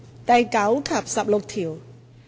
第9及16條。